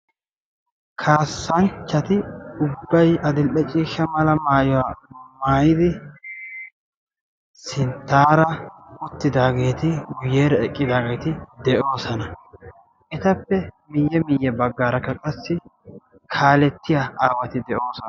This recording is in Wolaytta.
kaasanchchati ubbay addil'e ciishsha maayuwaa maayidi sintaara uttidaageeti, guyeera eqqidaageeti de'oosona. etappe miye miye bagaarakka qassi kaalettiya aawati de'oososna.